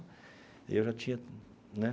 Eu já tinha né.